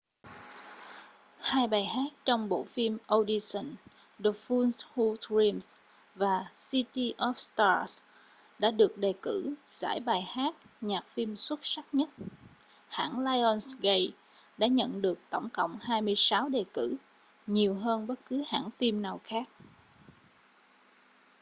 hai bài hát trong bộ phim audition the fools who dream và city of stars đã được đề cử giải bài hát nhạc phim xuất sắc nhất. hãng lionsgate đã nhận được tổng cộng 26 đề cử — nhiều hơn bất cứ hãng phim nào khác